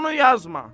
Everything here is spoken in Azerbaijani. Onu yazma.